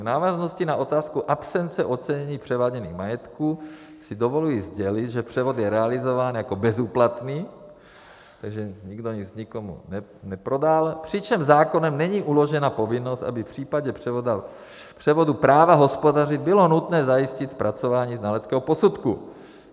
V návaznosti na otázku absence ocenění převáděných majetků si dovoluji sdělit, že převod je realizován jako bezúplatný, takže nikdo nic nikomu neprodal, přičemž zákonem není uložena povinnost, aby v případě převodu práva hospodařit bylo nutné zajistit zpracování znaleckého posudku.